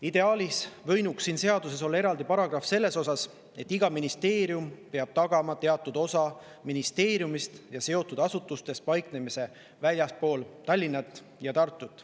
Ideaalis võinuks siin seaduses olla eraldi paragrahv selle kohta, et iga ministeerium peab tagama, et teatud osa ministeeriumist ja seotud asutustest paikneks väljaspool Tallinna ja Tartut.